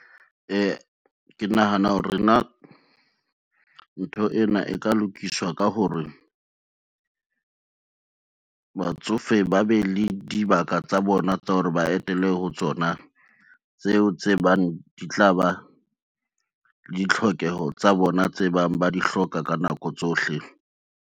Ke nahana hore na ntho ena e ka lokiswa ka hore, batsofe ba be le dibaka tsa bona tsa hore ba etele ho tsona, tseo tse bang di tla ba ditlhokeho tsa bona, tse bang ba di hloka ka nako tsohle.